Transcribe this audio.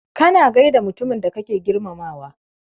Kana gaida mutumin da kake girmamawa.